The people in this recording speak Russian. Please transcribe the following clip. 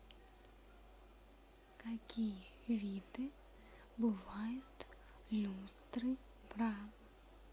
какие виды бывают люстры бра